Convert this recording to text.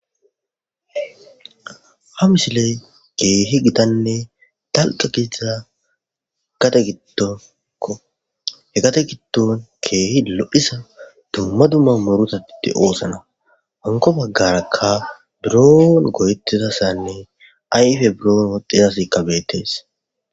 ha misiley keehi gitanne talqa giza gate gittoko he gate gitton keehi lo7isa dumma dumma murutatite oosana honko baggarakka buron goyettizassanne ayfe buroon woxxizas kabetes